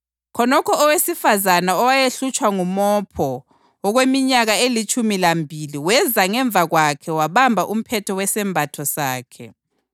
Khonokho owesifazane owayehlutshwa ngumopho okweminyaka elitshumi lambili weza ngemva kwakhe wabamba umphetho wesembatho sakhe.